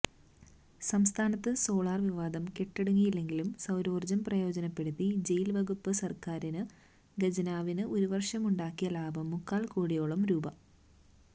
സംസ്ഥാനത്ത് സോളാര് വിവാദം കെട്ടടങ്ങുന്നില്ലെങ്കിലും സൌരോര്ജ്ജം പ്രയോജനപ്പെടുത്തി ജയില് വകുപ്പ് സര്ക്കാര് ഖജനാവിന് ഒരുവര്ഷമുണ്ടാക്കിയ ലാഭം മുക്കാല് കോടിയോളം രൂപ